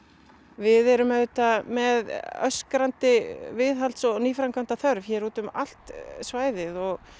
við erum auðvitað með öskrandi viðhalds og nýframkvæmdaþörf hér út um allt svæðið og